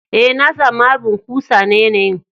Eh, na samu harbin kusa na yanayi'n.